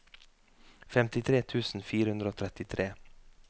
femtitre tusen fire hundre og trettitre